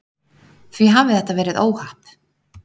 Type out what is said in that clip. Því hafi þetta verið óhapp